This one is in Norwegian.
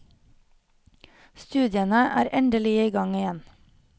Studiene er endelig i gang igjen.